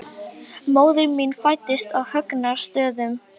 Móðir mín fæddist á Högna- stöðum.